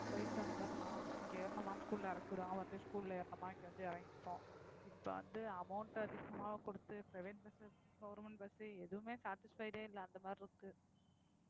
போயிட்டு வந்துரலாம். இங்க ஏறுனோமா school ல இறக்கி விடுவாங்க வந்து school ல ஏறுனோமா இங்க வந்து இறங்கிக்குவோம் இப்ப வந்து amount அதிகமாக கொடுத்து private bus, government bus எதுவுமே satisfied ஏ இல்லை. அந்த மாதிரியிருக்கு